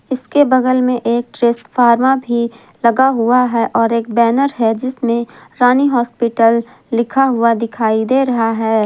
इसके बगल में एक ट्रेसफॉर्मा भी लगा हुआ है और एक बैनर है जिसमें रानी हॉस्पिटल लिखा हुआ दिखाई दे रहा है।